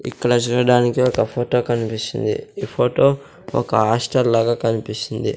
ఇక్కడ చూడడానికి ఒక ఫొటో కన్పిస్తుంది ఈ ఫొటో ఒక హాస్టల్ లాగా కనిపిస్తుంది.